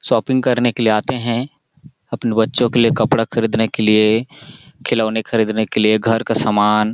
shopping करने के लिए आते है अपने बच्चों के लिए कपड़ा खरीदने के लिए खिलौने खरीदने के लिए घर का समान--